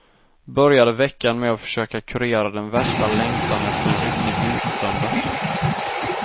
Började veckan med att försöka kurera den värsta längtan efter en riktig vintersöndag.